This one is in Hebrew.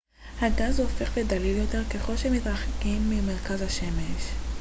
הגז הופך לדליל יותר ככל שמתרחקים ממרכז השמש